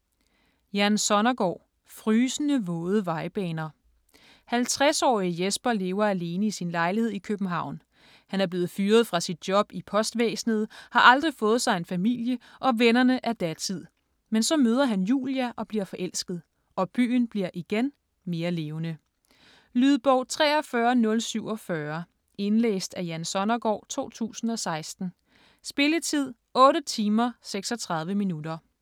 Sonnergaard, Jan: Frysende våde vejbaner 50-årige Jesper lever alene i sin lejlighed i København. Han er blevet fyret fra sit job i postvæsenet, har aldrig fået sig en familie, og vennerne er datid. Men så møder han Julia og bliver forelsket. Og byen bliver (igen) mere levende. Lydbog 43047 Indlæst af Jan Sonnergaard, 2016. Spilletid: 8 timer, 36 minutter.